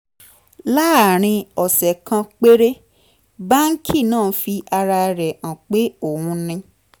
láàárín ọ̀sẹ̀ kan péré báńkì náà fi ara rẹ̀ hàn pé òun ni